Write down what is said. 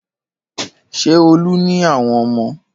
Ṣé Olú ní àwọn ọmọ?